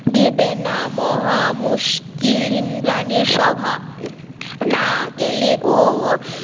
দেবে না মহা মুশকিল ইন্দ্রানী সভা না গেলেও